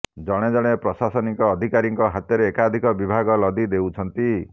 ଜଣେ ଜଣେ ପ୍ରଶାସନିକ ଅଧିକାରୀଙ୍କ ହାତରେ ଏକାଧିକ ବିଭାଗ ଲଦି ଦେଉଛନ୍ତି